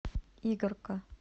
игарка